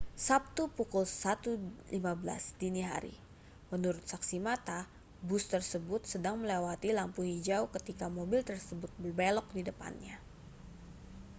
sabtu pukul 01.15 dini hari menurut saksi mata bus tersebut sedang melewati lampu hijau ketika mobil tersebut berbelok di depannya